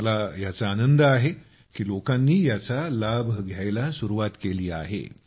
मला याचा आनंद आहे की लोकांनी याचा लाभ घेण्यास सुरूवात केली आहे